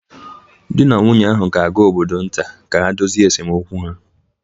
Di na nwunye ahụ ga-aga obodo nta ka ha dozie esemokwu ha